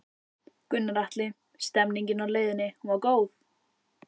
Gunnar Atli: Stemningin á leiðinni, hún var góð?